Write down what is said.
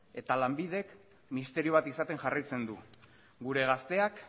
eta lanbidek misterio bat izaten jarraitzen du gure gazteak